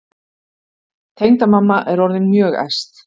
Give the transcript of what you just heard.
Tengdamamma er orðin mjög æst.